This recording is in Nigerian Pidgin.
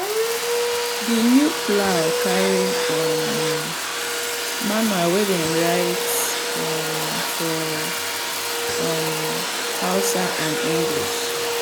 the new plow carry um manual wey dem write um for um hausa and english.